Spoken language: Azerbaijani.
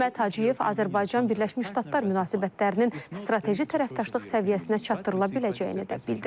Hikmət Hacıyev Azərbaycan-Birləşmiş Ştatlar münasibətlərinin strateji tərəfdaşlıq səviyyəsinə çatdırıla biləcəyini də bildirib.